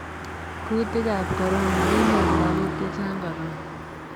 kuutikab korona:kinyor lagok che chang korona.